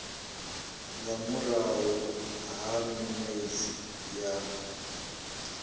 nga murahu ha minwedzi ya